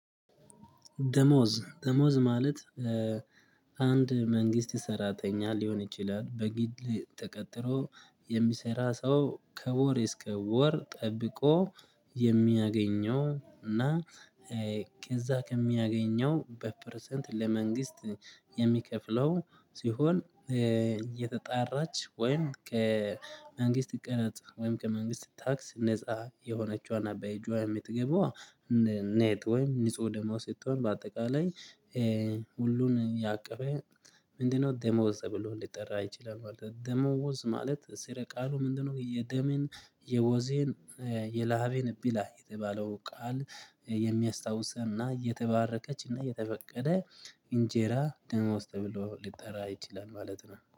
ደሞዝ ደሞዝ ማለት። አንድ መንግስት ሰራተኛ ሊሆን ይችላል በግል ተቀጥሮ የሚሰራ ሰው ከወር እስከ ወር ጠብቆ የሚያገኘው እና ከዚያ ከሚያገኘው በፐርሰንት ለመንግስት የሚከፍለው ሲሆን እየተጣራች ወይም ከመንግስት ቀረጥ ወይም ከመንግስት ታክስ ነፃ የሆነችዋን ናት በእጅ የምትገባው ኔት ወይም ንጹህ ደሞዝ ስትሆን በአጠቃላይ ሁሉን ያቀፈ ምንድነው ደሞዝ ተብሎ ልጠራ ይችለል ማለት ነው? ደመወዝ ማለት ስር ቃሉ ምንድነው? የደመን የወዜን የላቤን ቢለ የተባለው ቃል የሚያስታውሰንና የተባረከችና የተፈቀደ እንጀራ ደሞዝ ተብሎ ሊጠራ ይችላል ማለት ነው